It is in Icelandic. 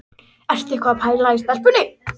Ertu eitthvað að pæla í stelpunni?